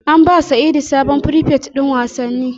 An ba sa'idu sabon frifet din wasanni